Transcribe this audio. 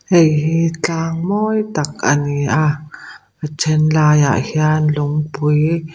hei hi tlang mawi tak a ni a a then lai ah hian lungpui--